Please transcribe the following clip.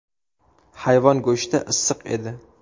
Hayvon go‘shti issiq edi”.